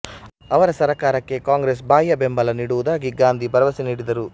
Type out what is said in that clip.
ಅವರ ಸರಕಾರಕ್ಕೆ ಕಾಂಗ್ರೆಸ್ ಬಾಹ್ಯ ಬೆಂಬಲ ನೀಡುವುದಾಗಿ ಗಾಂಧಿ ಭರವಸೆ ನೀಡಿದರು